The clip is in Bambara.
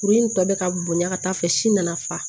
Kuru in tɔ bɛ ka bonya ka taa fɛ si nana fa